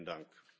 Vielen Dank.